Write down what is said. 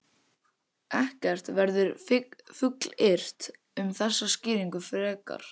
Ekkert verður fullyrt um þessa skýringu frekar.